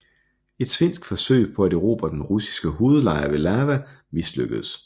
Et svensk forsøg på at erobre den russiske hovedlejr ved Lava mislykkedes